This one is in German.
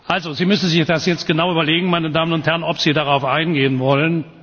Also Sie müssen sich das jetzt genau überlegen, meine Damen und Herren, ob Sie darauf eingehen wollen.